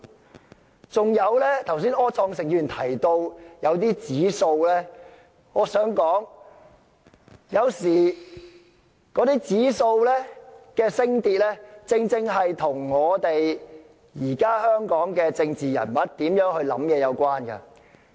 柯創盛議員剛才提到某些指數，我想說的是，有時候那些指數的升跌，是與現時香港政治人物的想法有關。